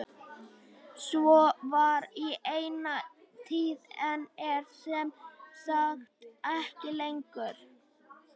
Svo var í eina tíð en er sem sagt ekki lengur.